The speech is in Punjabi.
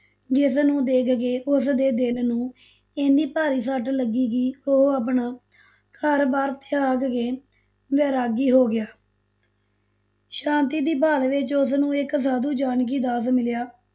ਜਿਸਨੂੰ ਦੇਖ ਕੇ ਉਸਦੇ ਦਿਲ ਨੂੰ ਇੰਨੀ ਭਾਰੀ ਸੱਟ ਲੱਗੀ ਕਿ ਉਹ ਆਪਣਾ ਘਰ ਬਾਰ ਤਿਆਗ ਕੇ ਵੈਰਾਗੀ ਹੋ ਗਿਆ ਸ਼ਾਂਤੀ ਦੀ ਭਾਲ ਵਿਚ ਉਸਨੂੰ ਇਕ ਸਾਧੂ ਜਾਨਕੀ ਦਾਸ ਮਿਲਿਆ,